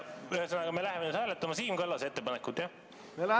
Ühesõnaga, me hakkame nüüd hääletama Siim Kallase ettepanekut, jah?